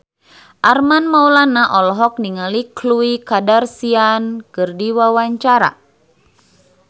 Armand Maulana olohok ningali Khloe Kardashian keur diwawancara